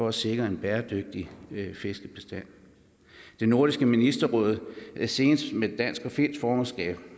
at sikre en bæredygtig fiskebestand nordisk ministerråd senest med dansk og finsk formandskab